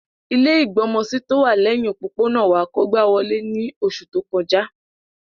Ilẹ́ ìgbọmọsí tówà lẹhin òpópónà wa kógba wolé ni oṣu to kọja.